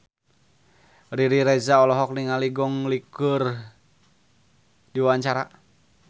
Riri Reza olohok ningali Gong Li keur diwawancara